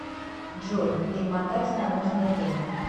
джой перемотать на нужное время